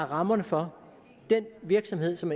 rammerne for den virksomhed som